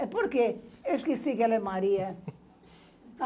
É porque eu esqueci que ela é Maria.